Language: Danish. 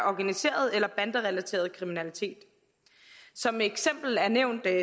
organiseret eller banderelateret kriminalitet som eksempel er nævnt